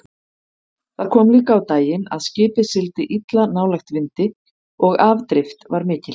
Það kom líka á daginn að skipið sigldi illa nálægt vindi og afdrift var mikil.